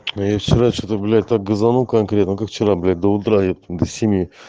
но я вчера что-то блять так газанул конкретно как вчера блять до утра епта до семи